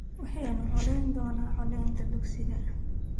Waxaanu codayn donna codeynta dugsiga